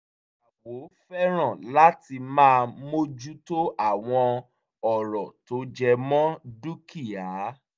ìyàwó fẹ́ràn láti máa mójú tó àwọn ọ̀rọ̀ tó jẹmọ́ dúkìá